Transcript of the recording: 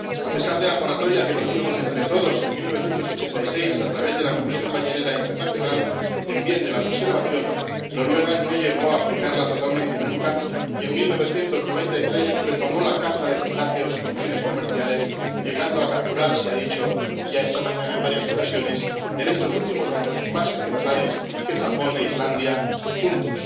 A pesar de la moratoria que nos dimos entre todos en 1986 a través de la Comisión Ballenera Internacional, en bien de la preservación, Noruega no llegó a aplicarla totalmente nunca y en 1993 retomó la caza de cetáceos con fines comerciales, llegando a capturar —se ha dicho ya esta mañana, en varias ocasiones— en estos últimos años más ejemplares que Japón e Islandia juntos.